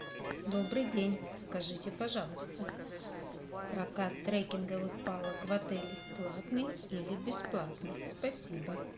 добрый день скажите пожалуйста прокат треккинговых палок в отеле платный или бесплатный спасибо